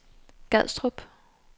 Gadstrup